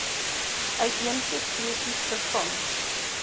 uitheemse spesies vervang